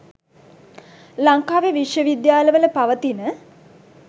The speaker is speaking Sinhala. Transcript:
ලංකාවේ විශ්ව විද්‍යාල වල පවතින